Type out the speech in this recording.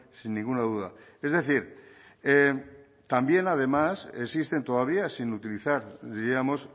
sin ninguna duda es decir también además existen todavía sin utilizar diríamos